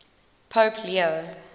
pope leo